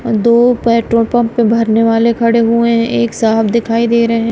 और दो petrol pump पे भरने वाले खड़े हुए हैं एक साफ दिखाई दे रहे--